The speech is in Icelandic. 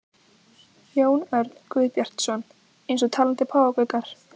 Jón Örn Guðbjartsson: Eins og talandi páfagaukar?